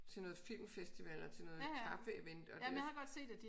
Til noget filmfestival og til noget kaffeevent og det